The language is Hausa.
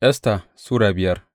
Esta Sura biyar